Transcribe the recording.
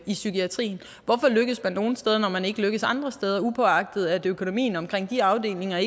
i psykiatrien hvorfor lykkes man nogle steder når man ikke lykkes andre steder upåagtet at økonomien omkring de afdelinger